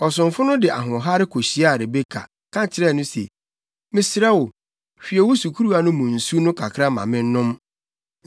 Ɔsomfo no de ahoɔhare kohyiaa Rebeka, ka kyerɛɛ no se, “Mesrɛ wo, hwie wo sukuruwa no mu nsu no kakra ma mennom.”